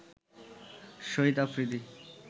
Shahid Afridi